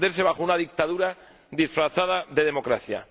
de esconderse bajo una dictadura disfrazada de democracia.